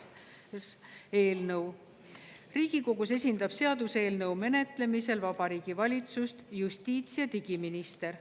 Riigikogus esindab seaduseelnõu menetlemisel Vabariigi Valitsust justiits‑ ja digiminister.